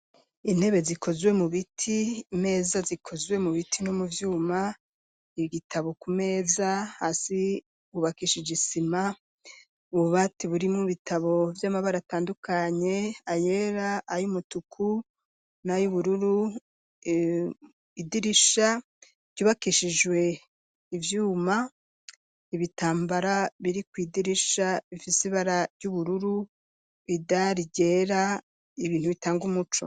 Intebe zikozwe mu biti meza zikozwe mu biti no mu byuma igitabo ku meza hasi hubakishijisima ububati buri mu bitabo by'amabara atandukanye ayera ay umutuku na y'ubururu, idirisha ryubakishijwe ivyuma ibitambara biri ku idirisha ifisibara ry'ubururu bidargera ibintu bitanga umuco.